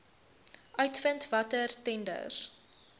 uitvind watter tenders